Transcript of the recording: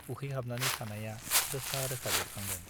उखैहाबनानै थानाया रोखा रोखा बेरखांदों ।